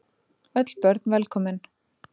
Öll börn velkomin.